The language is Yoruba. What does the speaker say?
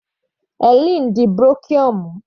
Hellen di brochure mú.